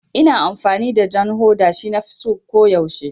Ina amfani da jan hoda, shi nafi so ko yaushe